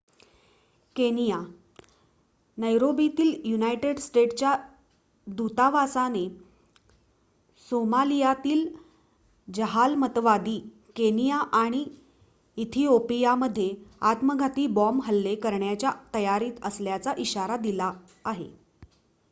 "Kenya नैरोबीतील United स्टेट्सच्या दुतावासाने "सोमालियातील जहालमतवादी" केनिया आणि इथिओपियामध्ये आत्मघाती बॉम्ब हल्ले करण्याच्या तयारीत असल्याचा इशारा दिला आहे.